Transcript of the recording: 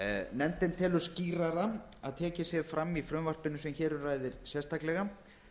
nefndin telur þó skýrara að tekið sé fram í frumvarpinu sem hér um ræðir sérstaklega